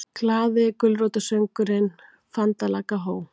GLAÐI GULRÓTARSÖNGURINNFANDALAGGAHOJ